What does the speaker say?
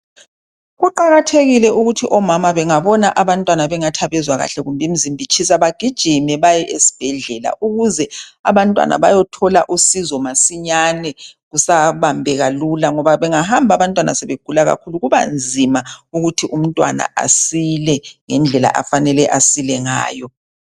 Kuqakathekile ukuthi omama bengabona abantwana bengathi abezwa kuhle kumbe imizimba itshisa baye esibhedlela, ukuze abantwana bayethola usizo masinyane kusabambeka lula ngoba bengahamba abantwana sebegula kakhulu kubanzima ukuthi umntwana asile ngendlela afanele asile ngayo.